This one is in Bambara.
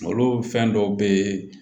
Malo fɛn dɔw bee